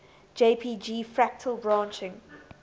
jpg fractal branching